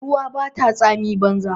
Ruwa bata tsami banza